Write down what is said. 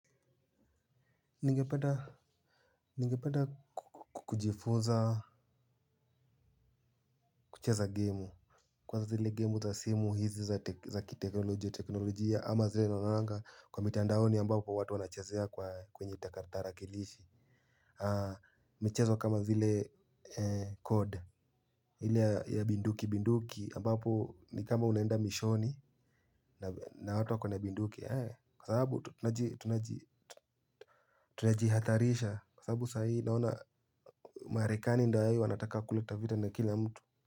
Ningependa kujifunza kucheza gemu. Kwanza zile gemu za simu hizi za kiteknolojia ama zile naonanga kwa mitandaoni ambapo watu wanachezea kwa kwenye kipakatalishi michezo kama zile code ile ya bunduki bunduki ambapo ni kama unaenda mishoni na watu wako na bunduki. Kwa sababu tunajihadharisha kwa sababu saa hii naona marekani ndio hiyo wanataka kuleta vita na kila mtu.